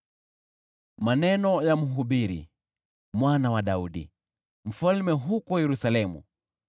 Maneno ya Mhubiri, mwana wa Daudi, mfalme huko Yerusalemu: